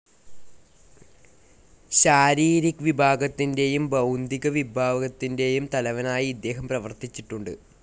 ശാരീരിക് വിഭാഗത്തിൻറെയും ബൗദ്ധിക വിഭാഗത്തിൻറെയും തലവനായി ഇദ്ദേഹം പ്രവർത്തിച്ചിട്ടുണ്ട്.